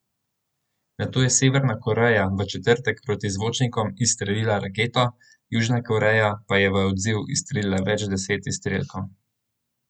Nato je Severna Koreja v četrtek proti zvočnikom izstrelila raketo, Južna Koreja pa je v odziv izstrelila več deset izstrelkov.